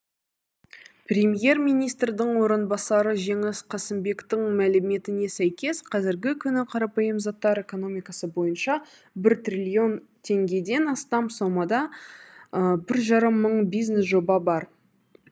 премьер министрдің орынбасары жеңіс қасымбектің мәліметіне сәйкес қазіргі күні қарапайым заттар экономикасы бойынша бір триллион теңгеден астам сомада бір жарым мың бизнес жоба бар